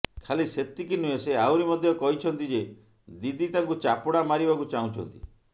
ଖାଲି ସେତିକି ନୁହେଁ ସେ ଆହୁରି ମଧ୍ୟ କହିଛନ୍ତି ଯେ ଦିଦି ତାଙ୍କୁ ଚାପୁଡା ମାରିବାକୁ ଚାହୁଁଛନ୍ତି